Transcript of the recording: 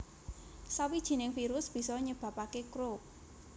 Sawijining virus bisa nyebabake Croup